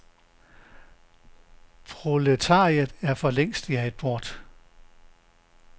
Proletariatet er for længst jaget bort.